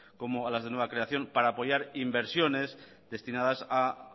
como a las de nueva creación para apoyar inversiones destinadas a